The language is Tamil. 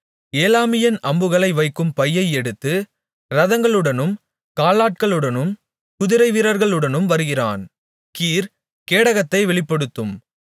ஏலாமியன் அம்புகளை வைக்கும் பையை எடுத்து இரதங்களுடனும் காலாட்களுடனும் குதிரைவீரர்களுடனும் வருகிறான் கீர் கேடகத்தை வெளிப்படுத்தும்